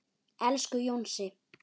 Elsku Jónsi.